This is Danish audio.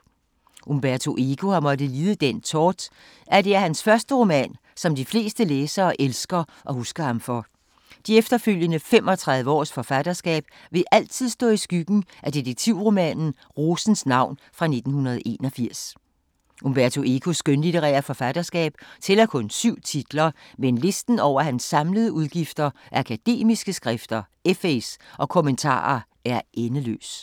Umberto Eco har måttet lide den tort, at det er hans første roman, som de fleste læsere elsker og husker ham for. De efterfølgende 35 års forfatterskab vil altid stå i skyggen af detektivromanen Rosens navn fra 1981. Umberto Ecos skønlitterære forfatterskab tæller kun syv titler, men listen over hans samlede udgivelser af akademiske skrifter, essays og kommentarer er endeløs.